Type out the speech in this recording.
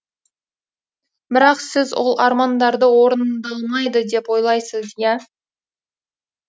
бірақ сіз ол армандарды орындалмайды деп ойлайсыз иа